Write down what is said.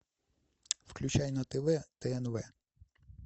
включай на тв тнв